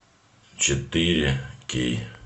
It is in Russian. четыре кей